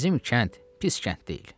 bizim kənd pis kənd deyil.